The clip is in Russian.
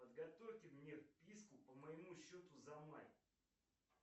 подготовьте мне вписку по моему счету за май